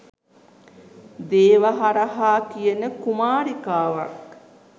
දේවහරහා කියන කුමාරිකාවක්.